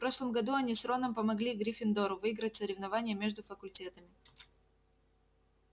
в прошлом году они с роном помогли гриффиндору выиграть соревнование между факультетами